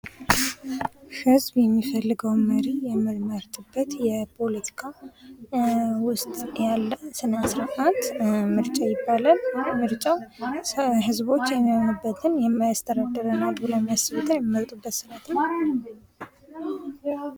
ፖለቲካ በሀገር ወይም በክልል ውስጥ ሥልጣንን የማግኘት፣ የመጠቀምና የማስጠበቅ እንዲሁም የህዝብን ጉዳዮች የማስተዳደር ሂደት ነው